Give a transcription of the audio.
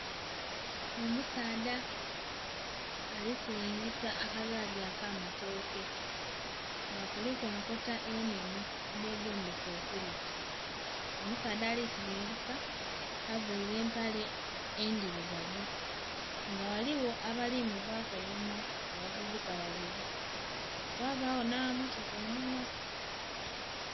Omusaadha ali silingisa akagaali ak'amatooke nga kuliku enkota ennhenhe edhegombesa okulya. Omusaadha ali silingisa availe empale endhilugavu nga ghaligho abali muvaaku einhuma abavubuka babili ghabagho nh'amammotoka einhuma.